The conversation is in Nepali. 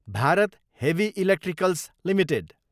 Bharat Heavy Electricals Ltd